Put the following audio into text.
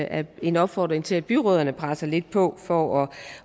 er en opfordring til at byrødderne presser lidt på for